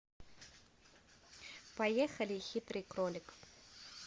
поехали хитрый кролик